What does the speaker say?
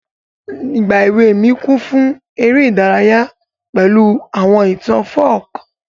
Ìgbà èwe mi kún fún ere ìdárayá pẹ̀lu àwọn ìtàn folk.